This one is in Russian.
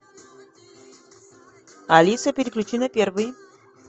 алиса переключи на первый